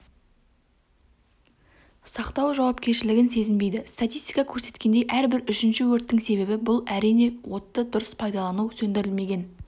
сақтау жауапкершілігін сезінбейді статистика көрсеткендей әрбір үшінші өрттің себебі бұл әрине отты дұрыс пайдалану сөндірілмеген